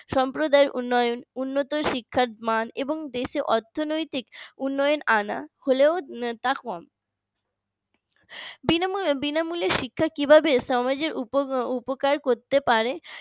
সম্প্রদায় উন্নয়ন উন্নত শিক্ষার মান এবং দেশে অর্থনৈতিক উন্নয়ন আনা হল তা কম বিনামূল্যে শিক্ষা কিভাবে সমাজের উপকার করতে পারে